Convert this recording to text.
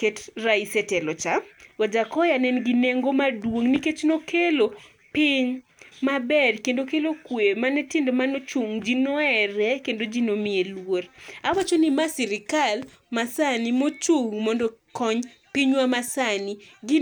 ket rais e telo cha, Wajakoya ne nigi nengo maduong' nikech ne okelo piny mabed kendo kiny kelo kwe mane tim mane ochung' ji ne ohere kendo ji ne omiye lur. Awacho ni mae sirikal masani mochung' mondo okony pinywa masani gi